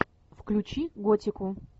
включи готику